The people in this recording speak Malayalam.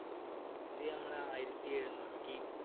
ഇത് ഞമ്മളെ ആയിരത്തി എഴുന്നൂറ്റി